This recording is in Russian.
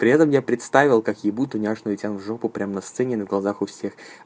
при этом я представил как ебуд ту няшную тем жопу прямо на сцене на глазах у всех